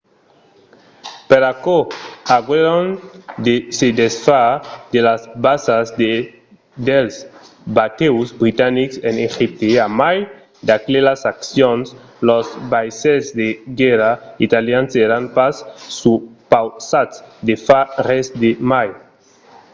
per aquò aguèron de se desfar de las basas e dels batèus britanics en egipte. a mai d'aquelas accions los vaissèls de guèrra italians èran pas supausats de far res de mai